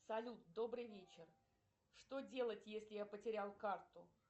салют добрый вечер что делать если я потерял карту